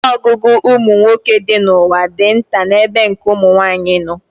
Ọnụọgụgụ ụmụ nwoke dị n'ụwa dị nta n'ebe nke ụmụ nwaanyị nọ